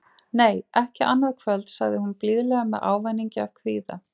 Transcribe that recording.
Nei, ekki annað kvöld, sagði hún blíðlega með ávæningi af kvíða.